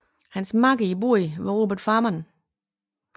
Hans makker i båden var Robert Farnan